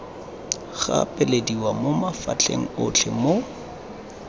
gapelediwa mo mafapheng otlhe mo